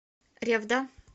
ревда